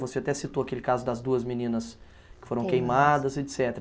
Você até citou aquele caso das duas meninas que foram queimadas, et cetera.